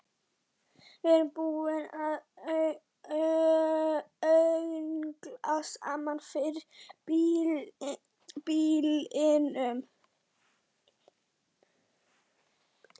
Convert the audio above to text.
Við erum búin að öngla saman fyrir býlinu.